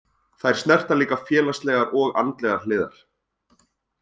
Þær snerta líka félagslegar og andlegar hliðar.